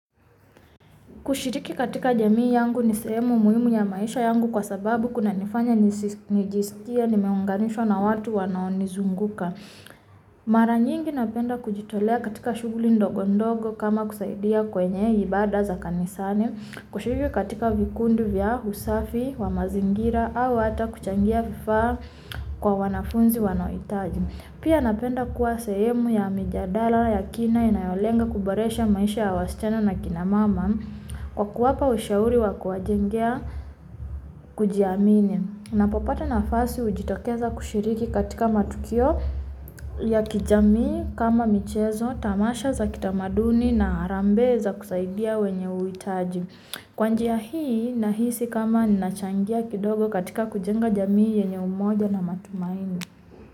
Kushiriki katika jamii yangu ni sehemu muhimu ya maisha yangu kwa sababu kunanifanya ni jisikie ni meunganishwa na watu wanao ni zunguka. Mara nyingi napenda kujitolea katika shuguli ndogo ndogo kama kusaidia kwenye ibada za kanisani, kusiriki katika vikundi vya usafi, wamazingira, au hata kuchangia vifaa kwa wanafunzi wanao hitaji. Pia napenda kwa sehemu ya mijadara ya kina inayo lenga kuboresha maisha wasichana na kinamama. Kwakuwapa ushauri wakuwa jengea kujiamini. Napopata nafasi hujitokeza kushiriki katika matukio ya kijamii kama michezo, tamasha za kitamaduni na harambe za kusaidia wenye uhitaji. Kwa njia hii, nahisi kama ninachangia kidogo katika kujenga jamii yenye umoja na matumaini.